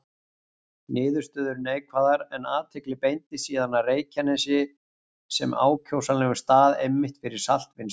Niðurstöður neikvæðar, en athygli beindist síðan að Reykjanesi sem ákjósanlegum stað einmitt fyrir saltvinnslu.